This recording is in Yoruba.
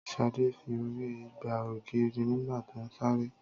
Ṣadé fi orí gbá ògiri nígbà tó ń sáré